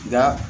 Nka